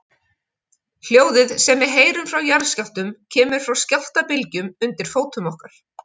Hljóðið sem við heyrum frá jarðskjálftum kemur frá skjálftabylgjunum undir fótum okkar.